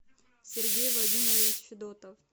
сергей владимирович федотов